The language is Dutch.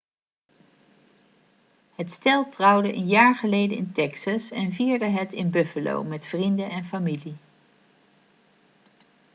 het stel trouwde een jaar geleden in texas en vierde het in buffalo met vrienden en familie